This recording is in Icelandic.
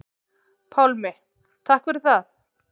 Pálmi: Takk fyrir það.